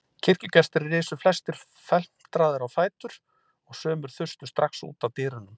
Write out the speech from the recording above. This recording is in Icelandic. Kirkjugestir risu flestir felmtraðir á fætur og sumir þustu strax út að dyrunum.